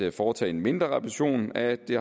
at foretage en mindre reparation af det